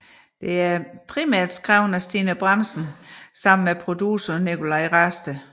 Det er primært skrevet af Stine Bramsen i samarbejde med producer Nicolaj Rasted